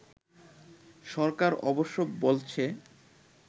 সরকার অবশ্য বলছে